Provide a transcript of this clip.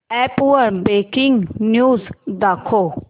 app वर breaking news दाखव